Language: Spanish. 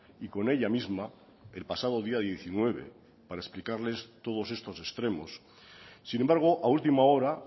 y con ella misma el pasado día diecinueve para explicarles todos estos extremos sin embargo a última hora